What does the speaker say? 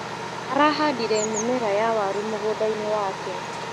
Arahandire mimera ya waru mgundainĩ wake.